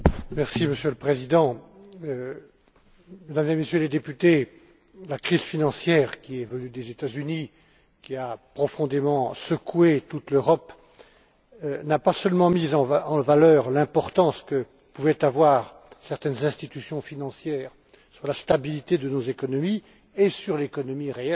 Monsieur le Président, Mesdames et Messieurs les députés, la crise financière qui est venue des États Unis et qui a profondément secoué toute l'Europe n'a pas seulement mis en lumière l'importance que pouvaient avoir certaines institutions financières sur la stabilité de nos économies et sur l'économie réelle.